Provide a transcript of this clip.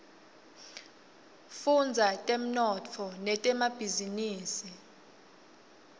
fudza temnotfo netemabhizinisa